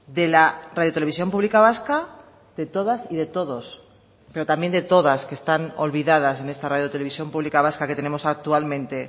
de la radio televisión pública vasca de todas y de todos pero también de todas que están olvidadas en esta radio televisión pública vasca que tenemos actualmente